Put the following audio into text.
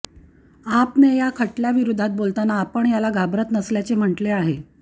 आपने या खटल्याविरोधात बोलतांना आपण याला घाबरत नसल्याचे म्हटले आहे